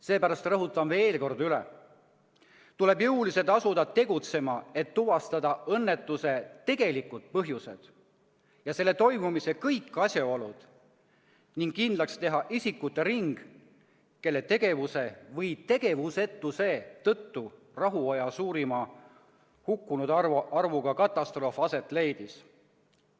Seepärast rõhutan veel kord üle: tuleb asuda jõuliselt tegutsema, et tuvastada õnnetuse tegelikud põhjused ja selle toimumise kõik asjaolud ning kindlaks teha isikute ring, kelle tegevuse või tegevusetuse tõttu rahuaja suurima hukkunute arvuga katastroof aset leidis.